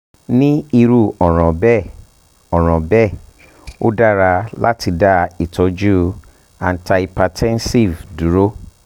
ni iru ọran bẹẹ ọran bẹẹ o dara lati da itọju antihypertensive duro